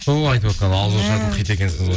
сол ғой айтып отырған ауызашардың хиті екенсің ғой